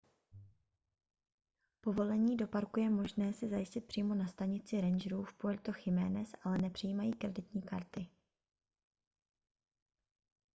povolení do parku je možné si zajistit přímo na stanici rangerů v puerto jiménez ale nepřijímají kreditní karty